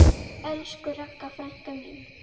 Elsku Ragga frænka mín.